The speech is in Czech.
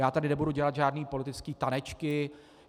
Já tady nebudu dělat žádné politické tanečky.